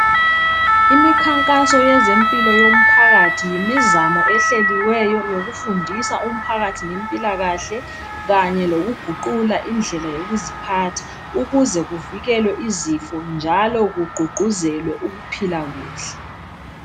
Imikhankaso yezempilo yomphakathi yimizamo ehleliweyo yokufundisa umpakathi ngempilakahle kanye lokuguqula indlela yokuziphatha ukuze kuvikelwe izifo njalo ku gqugquzele ukuphila kuhle